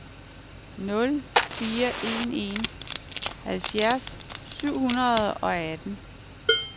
nul fire en en halvfjerds syv hundrede og atten